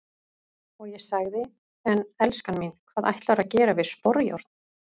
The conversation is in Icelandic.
Og ég sagði:- En elskan mín, hvað ætlarðu að gera við sporjárn?